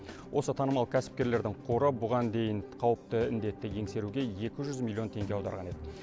осы танымал кәсіпкерлердің қоры бұған дейін қауіпті індетті еңсеруге екі жүз миллион теңге аударған еді